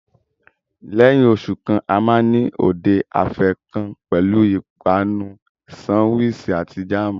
Lẹ́yìn oṣù kan, a máa ní òde afẹ́ kan pẹ̀lú ìpanu sánwiisì àti jáàmù.